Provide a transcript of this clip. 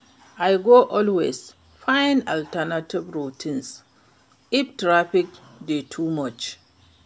I go always find alternative routes if traffic dey too much.